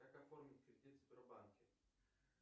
как оформить кредит в сбербанке